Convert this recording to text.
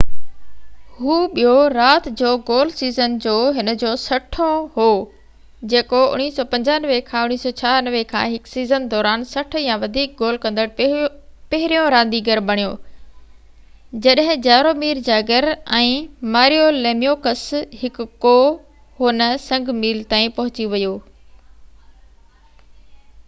هو ٻيو رات جو گول سيزن جو هن جو 60 هون هو جيڪو 1995-96 کان هڪ سيزن دوران 60 يا وڌيڪ گول ڪندڙ پهريون رانديگر بڻيو جڏهن جارومير جاگر ۽ ماريو ليميوڪس هڪ ڪو هن سنگ ميل تائين پهچي ويو